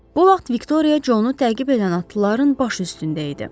Bu vaxt Viktoriya Conu təqib edən atlıların başı üstündə idi.